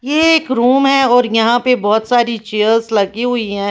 ये एक रूम है और यहां पर बहुत सारी चेयर्स लगी हुई है।